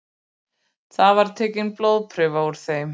Þar var tekin blóðprufa úr þeim